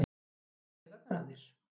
fara þeir í taugarnar á þér?